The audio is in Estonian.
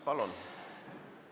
Palun!